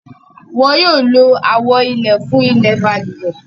Wọ́n yóò lo àwo ilẹ̀ fún ilẹ̀ balùwẹ̀.